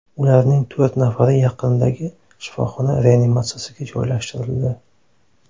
Ularning to‘rt nafari yaqindagi shifoxona reanimatsiyasiga joylashtirildi.